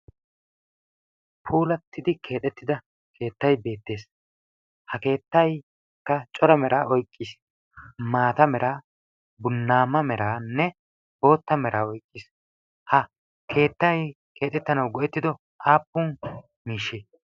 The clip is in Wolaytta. puulattidi keettay beettes. ha keettaykka cora meraa oyikkis. maata meraa, bunnaamma meranne bootta mera oyiqqis. ha keettay keexettanawu go'ettido aappun miishshe?